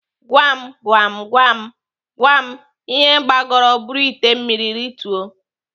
Gwam Gwam Gwam Gwam ihe gbagoro buru ite mmiri rituo?